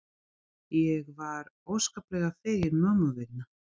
Ég var óskaplega fegin mömmu vegna.